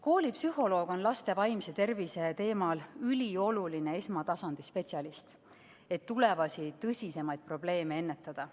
Koolipsühholoog on laste vaimse tervise jaoks ülioluline esmatasandi spetsialist, et tulevasi tõsisemaid probleeme ennetada.